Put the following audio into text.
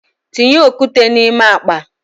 Tinye okwute na ime akpa!